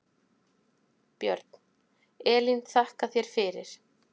Björn: Elín þakka þér fyrir.